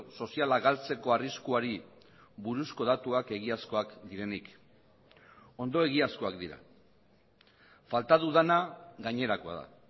soziala galtzeko arriskuari buruzko datuak egiazkoak direnik ondo egiazkoak dira falta dudana gainerakoa da